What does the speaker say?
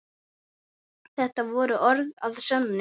Þetta voru orð að sönnu.